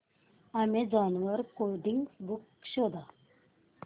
Amazon वर coding books शोधा